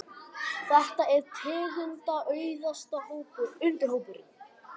Þetta er tegundaauðugasti undirhópurinn.